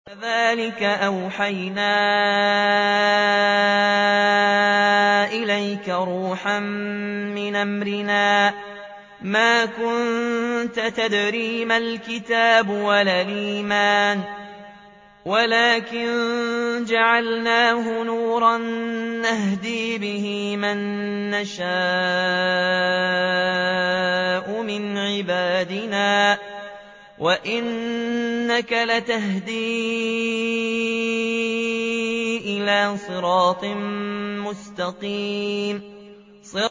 وَكَذَٰلِكَ أَوْحَيْنَا إِلَيْكَ رُوحًا مِّنْ أَمْرِنَا ۚ مَا كُنتَ تَدْرِي مَا الْكِتَابُ وَلَا الْإِيمَانُ وَلَٰكِن جَعَلْنَاهُ نُورًا نَّهْدِي بِهِ مَن نَّشَاءُ مِنْ عِبَادِنَا ۚ وَإِنَّكَ لَتَهْدِي إِلَىٰ صِرَاطٍ مُّسْتَقِيمٍ